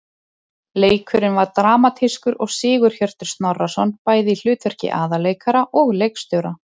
Leikurinn var dramatískur og Sigurhjörtur Snorrason bæði í hlutverki aðalleikara og leikstjóra.